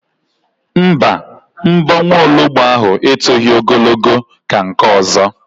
Mba, mbọ nwologbo ahụ etoghi ogologo ka nke ọzọ